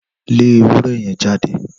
Lé ewúrẹ́ yẹn jáde!